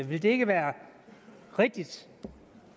vil det ikke være rigtigt